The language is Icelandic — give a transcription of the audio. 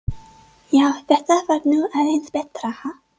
Já, þetta var nú aðeins betra, ha!